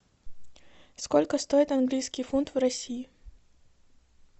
сколько стоит английский фунт в россии